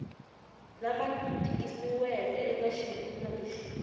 lama tikisiweke eka xivulwa lexi